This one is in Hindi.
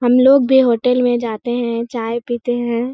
हम लोग भी होटल में जाते हैं चाय पीते हैं।